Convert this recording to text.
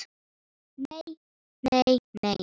Nei, nei nei.